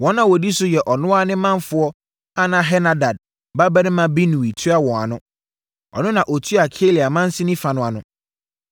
Wɔn a wɔdi so yɛ ɔno ara ne manfoɔ a na Henadad babarima Binui tua wɔn ano. Ɔno na na ɔtua Keila mansini fa no ano.